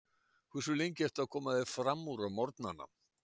Hversu lengi ertu að koma þér framúr á morgnanna?